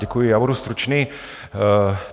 Děkuji, já budu stručný.